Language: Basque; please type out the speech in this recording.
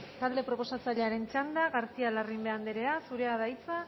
talde proposatzailearen txanda garcía larrimbe anderea zurea da hitza